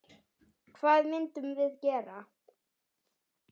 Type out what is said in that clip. Hvað myndum við gera?